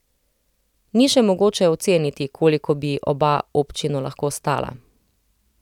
Ni še mogoče oceniti, koliko bi oba občino lahko stala.